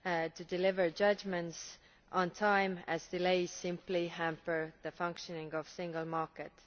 to deliver judgments on time, as delays simply hamper the functioning of the single market.